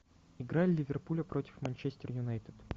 игра ливерпуля против манчестер юнайтед